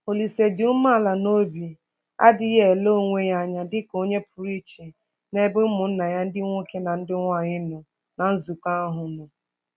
Olise dị umeala n’obi adịghị ele onwe ya anya dị ka onye pụrụ iche n’ebe ụmụnna ya ndị nwoke na ndị nwanyị nọ ná nzukọ ahụ nọ.